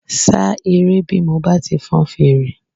Ṣá eré bí mo bá ti fọn fèrè